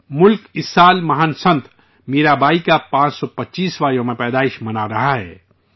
ملک اس سال عظیم سنت میرا بائی کی 525ویں جنم جینتی منا رہا ہے